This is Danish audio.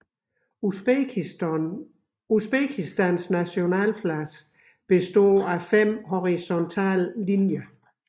Usbekistans Nationaflag består af 5 horisontale linjer